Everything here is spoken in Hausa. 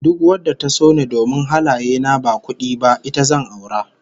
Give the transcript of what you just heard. Duk wadda ta so ni domin halaye na ba kudi ba, ita zan aura